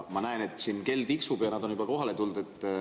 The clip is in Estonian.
Ma näen, et kell tiksub ja nad on juba kohale tulnud.